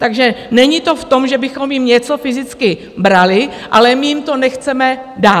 Takže není to v tom, že bychom jim něco fyzicky brali, ale my jim to nechceme dát.